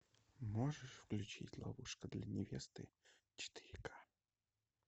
можешь включить ловушка для невесты четыре ка